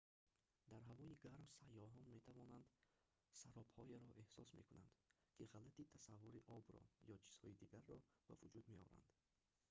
дар ҳавои гарм сайёҳон метавонанд саробҳоеро эҳсос мекунанд ки ғалати тасаввури обро ё чизҳои дигарро ба вуҷуд меоранд